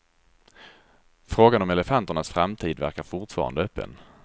Frågan om elefanternas framtid verkar fortfarande öppen.